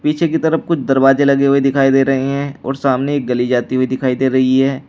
पीछे की तरफ कुछ दरवाजे लगे हुए दिखाई दे रहे हैं और सामने गली जाती हुई दिखाई दे रही है।